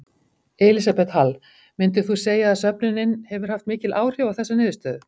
Elísabet Hall: Myndir þú segja að söfnunin hefur haft mikil áhrif á þessa niðurstöðu?